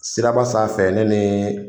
Siraba sanfɛ ne ni